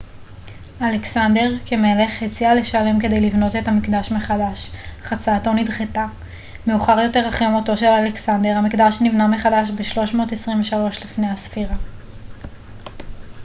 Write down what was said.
אלכסנדר כמלך הציע לשלם כדי לבנות את המקדש מחדש אך הצעתו נדחתה מאוחר יותר אחרי מותו של אלכסנדר המקדש נבנה מחדש ב-323 לפנה ס